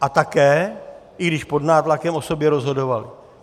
A také, i když pod nátlakem, o sobě rozhodovali.